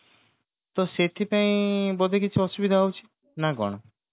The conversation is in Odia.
ତ ସେଥିପାଇଁ ବୋଧେ କିଛି ଆସୁବିଧା ହଉଛି ନା କଣ